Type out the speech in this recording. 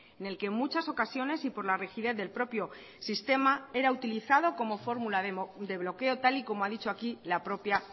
en el que en muchas ocasiones y por la rigidez del propio sistema era utilizado como fórmula de bloqueo tal y como ha dicho aquí la propia